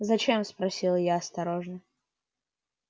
зачем спросила я осторожно